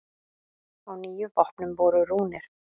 Á níu vopnum voru rúnir.